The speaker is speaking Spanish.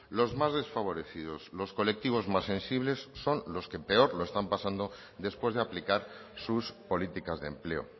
los más desfavorecidos los colectivos más sensibles son los que peor lo están pasando después de aplicar sus políticas de empleo